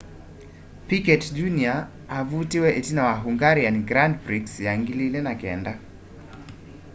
piquet jr avutiwe itina wa hungarian grand prix ya 2009